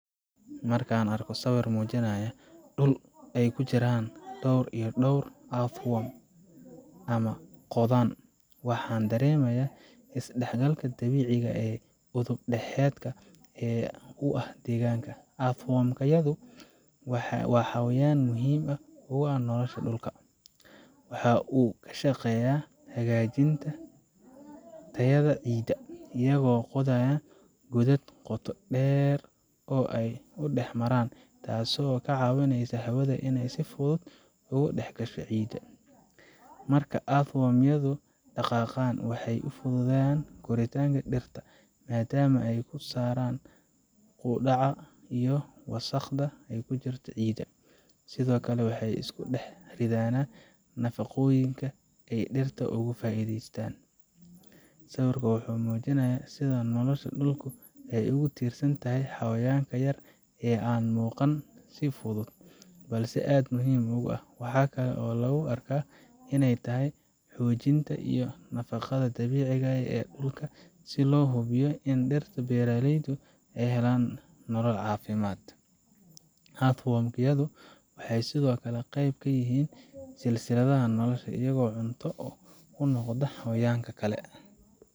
Markaan arko sawir muujinaya dhul ay ku jiraan dhawr iyo dhowr earthworm ama qodan, waxaan dareemayaa isdhexgalka dabiiciga ah ee udub dhexaadka u ah deegaanka. earthworm yadu waa xayawaan aad muhiim ugu ah nolosha dhulka. Waxa ay ka shaqeeyaan hagaajinta tayada ciidda, iyagoo qodaya godad qoto dheer oo ay dhex maraan, taasoo ka caawisa hawada inay si fudud ugu dhex gasho ciidda. Marka earthworm yadu dhaqaaqaan, waxay u fududeeyaan koritaanka dhirta, maadaama ay ka saaraan qudhaca iyo wasakhda ku jirta ciidda. Sidoo kale, waxay isku dhex riddaan nafaqooyinka si ay dhirta ugu faa’iideystaan. Sawirkan wuxuu muujinayaa sida nolosha dhulka ay ugu tiirsan tahay xayawaankan yar ee aan muuqan si fudud, balse aad muhiim u ah. Waxaa kale oo lagu arkaa in ay tahay xoojinta iyo nafaqada dabiiciga ah ee dhulka si loo hubiyo in dhirta iyo beeralaydu ay helaan nolol caafimaad leh. earthworm yadu waxay sidoo kale qeyb ka yihiin silsiladda nolosha, iyagoo cunto u noqda xayawaan kale.